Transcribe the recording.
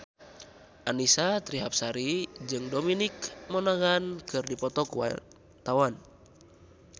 Annisa Trihapsari jeung Dominic Monaghan keur dipoto ku wartawan